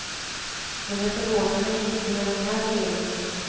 Men det förvånar mig inte med den här regeringen.